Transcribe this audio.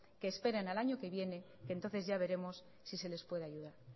que esperen al año que viene que entonces ya veremos si se les puede ayudar